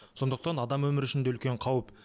сондықтан адам өмірі үшін де үлкен қауіп